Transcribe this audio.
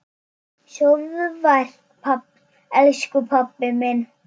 Sofðu vært, elsku pabbi minn.